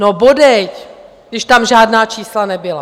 No bodejť, když tam žádná čísla nebyla!